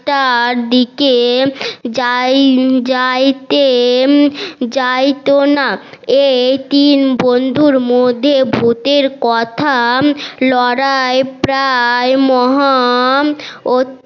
টার দিকে যাই যাইতে যাইত না এই তিন বন্ধুর মধ্যে ভুতের কথা লড়াই প্রায় মহান ও